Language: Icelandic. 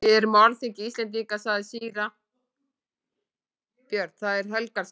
Við erum á alþingi Íslendinga, sagði síra Björn,-það er helgur staður.